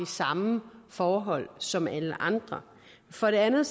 samme forhold som alle andre for det andet